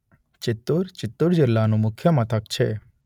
ચિત્તૂર ચિત્તૂર જિલ્લાનું મુખ્ય મથક છે.